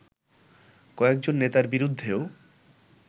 কয়েকজন নেতার বিরুদ্ধেও